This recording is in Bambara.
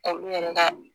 Ka olu yɛrɛ ka